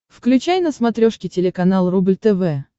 включай на смотрешке телеканал рубль тв